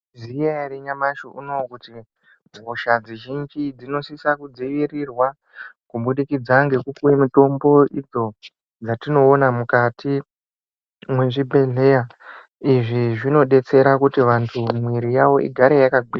Mayizviziya here nyamashi uno kuti hosha zhinji dzinosisa kudzivirirwa kubudikidza nekupiwe mitombo idzo dzatinoona mukati mezvibhehlera izvi zvinodetsera kuti vantu mwiiri yavo igare yakagwinya.